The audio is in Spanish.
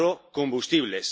agrocombustibles.